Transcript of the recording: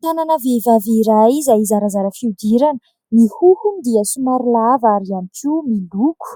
Tanana vehivavy iray izay zarazara fihodirana. Ny hohony dia somary lava ary ihany koa miloko.